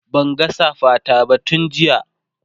Banga safa ta ba tun jiya